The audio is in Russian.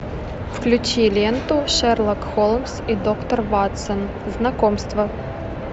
включи ленту шерлок холмс и доктор ватсон знакомство